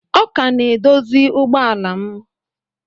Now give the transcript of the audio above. Ọ ka na-edozi ụgbọ ala m